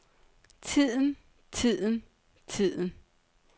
tiden tiden tiden